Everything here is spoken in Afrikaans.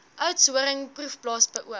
oudtshoorn proefplaas beoog